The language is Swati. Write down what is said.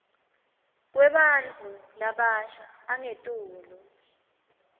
kwebantfu labasha angetulu